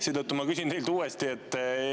Seetõttu ma küsin teilt uuesti.